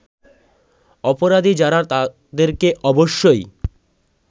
অপরাধী যারা তাদেরকে অবশ্যই